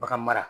Bagan mara